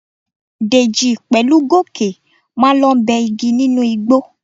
Dèjì pẹ̀lú Gòkè máa lọ bẹ́ igi nínú igbó.